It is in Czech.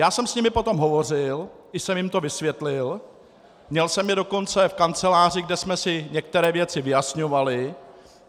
Já jsem s nimi potom hovořil i jsem jim to vysvětlil, měl jsem je dokonce v kanceláři, kde jsme si některé věci vyjasňovali.